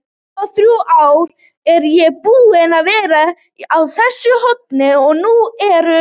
tuttugu-og-þrjú ár er ég búinn að vera á þessu horni og nú eru